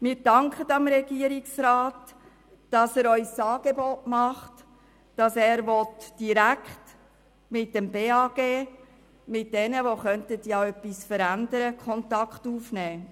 Wir danken dem Regierungsrat, dass er uns das Angebot macht, direkt mit dem Bundesamt für Gesundheit (BAG), das etwas verändern könnte, Kontakt aufzunehmen.